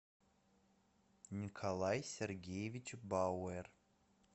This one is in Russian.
николай сергеевич бауэр